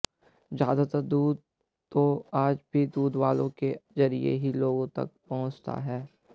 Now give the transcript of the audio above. ज्यादातर दूध तो आज भी दूधवालों के जरिये ही लोगों तक पहुंचता है